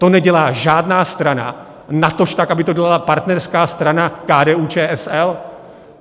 To nedělá žádná strana, natož tak, aby to byla partnerská strana KDU-ČSL.